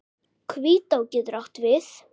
Hvítá getur átt við